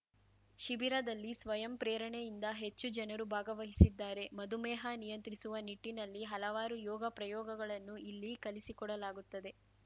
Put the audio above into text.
ಶಿಬಿರದಲ್ಲಿ ಸ್ವಯಂ ಪ್ರೇರಣೆಯಿಂದ ಹೆಚ್ಚು ಜನರು ಭಾಗವಹಿಸಿದ್ದಾರೆ ಮಧುಮೇಹ ನಿಯಂತ್ರಿಸುವ ನಿಟ್ಟಿನಲ್ಲಿ ಹಲವಾರು ಯೋಗ ಪ್ರಯೋಗಗಳನ್ನು ಇಲ್ಲಿ ಕಲಿಸಿಕೊಡಲಾಗುತ್ತದೆ